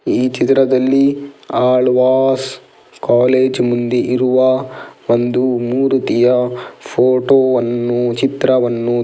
ಈ ಚಿತ್ರದಲ್ಲಿ ಆಳ್ವಾಸ್ ಕಾಲೇಜ್ ಮುಂದೆ ಇರುವ ಒಂದು ಮೂರುತಿಯ ಫೋಟೋವನ್ನು ಚಿತ್ರವನ್ನು --